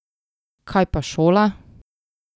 Kaj pa šola?